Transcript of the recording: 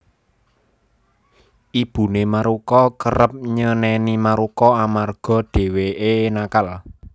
Ibune Maruko kerep nyeneni Maruko amarga dheweke nakal